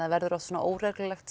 verður oft svona óreglulegt